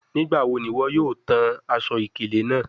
Nigbawo ni iwọ yoo tan aṣọ-ikele naa?